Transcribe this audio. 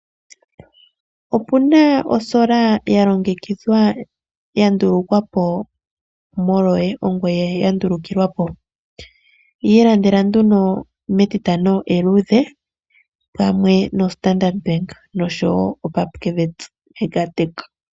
Opu na osola ya longekidhwa, ya ndulukwa po molwoye, ongoye ya ndulukilwa po. Yi ilandela nduno mEtitano eluudhe pamwe noStandard Bank noshowo Pupkewitz Megatech.